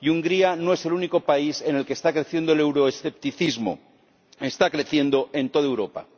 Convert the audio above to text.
y Hungría no es el único país en el que está creciendo el euroescepticismo está creciendo en toda Europa.